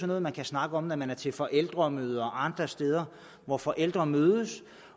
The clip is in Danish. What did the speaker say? noget man kan snakke om når man er til forældremøde og andre steder hvor forældre mødes